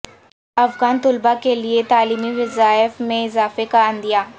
افغان طلبا کے لیے تعلیمی وظائف میں اضافے کا عندیہ